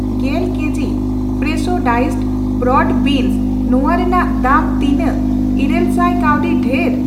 ᱜᱮᱞ ᱠᱮᱡᱤ ᱠᱚ ᱯᱷᱨᱮᱥᱷᱳ ᱰᱟᱭᱤᱥᱰ ᱵᱨᱚᱰ ᱵᱮᱱᱚᱥ ᱱᱚᱣᱟ ᱨᱮᱱᱟᱜ ᱫᱟᱢ ᱛᱤᱱᱟᱜ ᱤᱨᱟᱹᱞ ᱥᱟᱭ ᱠᱟᱣᱰᱤ ᱫᱷᱮᱨ?